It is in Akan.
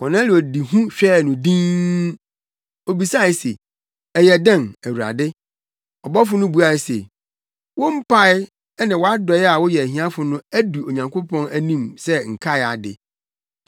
Kornelio de hu hwɛɛ no dinn. Obisae se, “Ɛyɛ dɛn Awurade?” Ɔbɔfo no buae se, “Wo mpae ne wʼadɔe a woyɛ ahiafo no adu Onyankopɔn anim sɛ nkae ade.